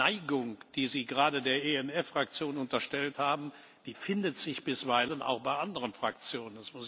Die Neigung, die Sie gerade der ENF Fraktion unterstellt haben, findet sich bisweilen auch bei anderen Fraktionen.